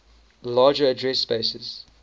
larger address spaces